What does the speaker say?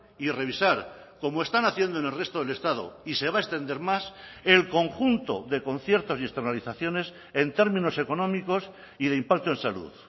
y revisar como están haciendo en el resto del estado y se va a extender más el conjunto de conciertos y externalizaciones en términos económicos y de impacto en salud